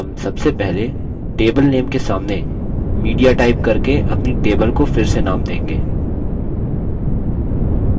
हम सबसे पहले table name के सामने media टाइप करके अपनी table को फिर से name देंगे